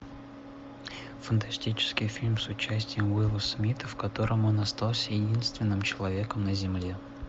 фантастический фильм с участием уилла смита в котором он остался единственным человеком на земле